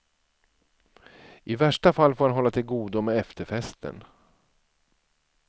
I värsta fall får han hålla till godo med efterfesten.